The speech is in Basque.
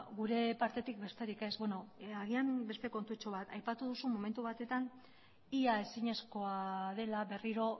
gure partetik besterik ez beno agian beste kontutxo bat aipatu duzu momentu batetan ia ezinezkoa dela berriro